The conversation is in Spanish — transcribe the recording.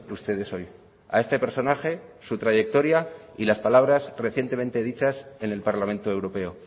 ustedes hoy a este personaje su trayectoria y las palabras recientemente dichas en el parlamento europeo